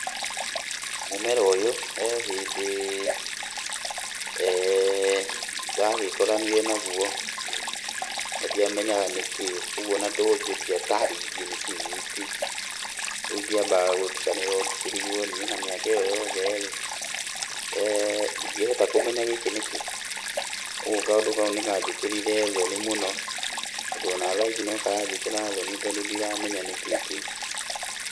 Mũmera ũyũ he hĩndĩ ndagĩkoranire naguo na ndiamenyaga nĩkĩĩ, kwoguo ona ndorio ndiatarĩirie nĩkĩĩ gĩkĩ. Rĩu ngĩamba gũtukanĩrwo ngĩkĩrigwo niĩ na mĩaka ĩyo yothe ndingĩhota kũmenya gĩkĩ nĩkĩĩ. Ũgwo kaũndũ kau nĩkanjĩkĩrire thoni mũno, tondũ ona thaici nokaranjĩkĩra thoni tondũ ndiramenya nĩkĩĩ kĩu.